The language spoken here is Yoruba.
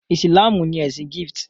Ìsìlámù ní ẹsìn Gift.